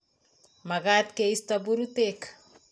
Makat keisto purutek